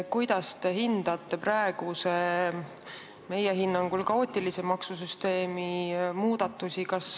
Kuidas te hindate praeguse, meie hinnangul kaootilise maksusüsteemi muudatusi?